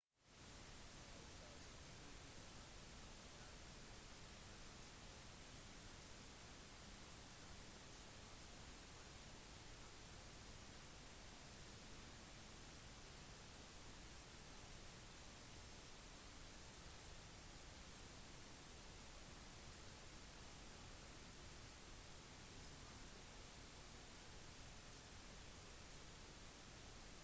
i 1624 etablerte det nederlandske øst-india-selskapet en base i det sørvestlige taiwan og startet opp med en omlegging til urfolkets kornproduksjonspraksis og ansatte kinesiske arbeidere til å arbeide på rismarkene og sukkerplantasjene deres